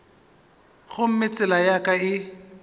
gomme tsela ya ka e